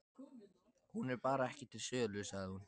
Hún er bara ekki til sölu, sagði hún.